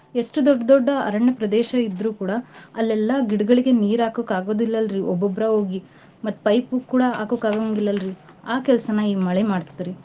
ಎಷ್ಟು ದೊಡ್ ದೊಡ್ಡ ಅರಣ್ಯ ಪ್ರದೇಶ ಇದ್ರೂ ಕೂಡ ಅಲ್ಲೆಲ್ಲಾ ಗಿಡಗಳಿಗೆ ನೀರ್ ಆಕಕ್ ಆಗೋದಿಲ್ಲಲ್ರಿ ಒಬ್ಬೊಬ್ರೇ ಹೋಗಿ ಮತ್ತ್ pipe ಕೂಡಾ ಹಾಕೋಕ್ ಆಗಂಗಿಲ್ಲಲ್ರಿ ಆ ಕೆಲ್ಸನಾ ಈ ಮಳೆ ಮಾಡ್ತದ್ರಿ.